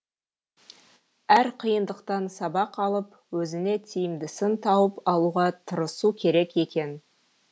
әр қиындықтан сабақ алып өзіңе тиімдісін тауып алуға тырысу керек екен